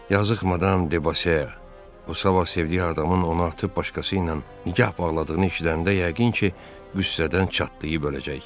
Yazıq Madam De Bosea, o sabah sevdiyi adamın onu atıb başqası ilə nikah bağladığını eşidəndə yəqin ki, qüssədən çatlayıb öləcək.